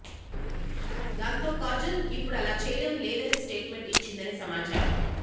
దాంతో కాజల్ ఇప్పుడు ఇలా చేయడం లేదని స్టేట్మెంట్ ఇచ్చిందని సమాచారం